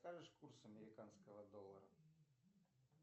скажешь курс американского доллара